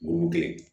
Burukina